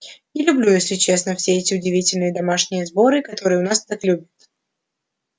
не люблю если честно все эти удивительные домашние сборы которые у нас так любят